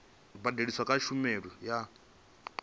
badeliswaho kha tshumelo i nga